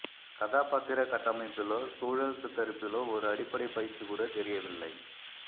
கதாபாத்திர கட்டமைப்பிலோ சூழல் சித்தரிப்பிலோ ஒரு அடிப்படை பயிற்சி கூட தெரியவில்லை